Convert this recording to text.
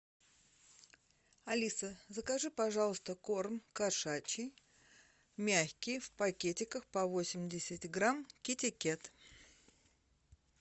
алиса закажи пожалуйста корм кошачий мягкий в пакетиках по восемьдесят грамм китикет